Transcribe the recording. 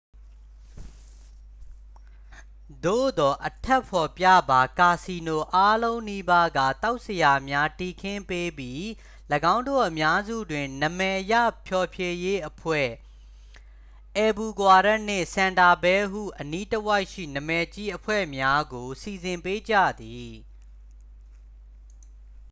သို့သော် အထက်ဖော်ပြပါ ကာစီနိုအားလုံးနီးပါးက သောက်စရာများ တည်ခင်းပေးပြီး ၎င်းတို့အများစုတွင် နာမည်ရဖျော်ဖြေရေးအဖွဲ့ အယ်ဘူကွာရက်နှင့် ဆန်တာဖဲဟု အနီးတဝိုက်ရှိ နာမည်ကြီးအဖွဲ့များ ကို စီစဉ်ပေးကြသည်။